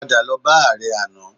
Padà lọ bá ààrẹ àná